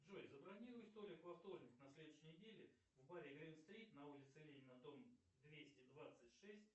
джой забронируй столик во вторник на следующей неделе в баре грин стрит на улице ленина дом двести двадцать шесть